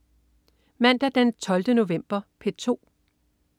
Mandag den 12. november - P2: